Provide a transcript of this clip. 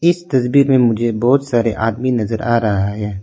इस तस्वीर में मुझे बहोत सारे आदमी नजर आ रहा है।